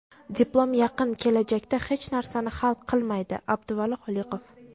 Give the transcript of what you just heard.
"Diplom yaqin kelajakda hech narsani hal qilmaydi" — Abduvali Xoliqov.